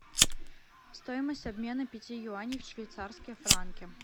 стоимость обмена пяти юаней в швейцарские франки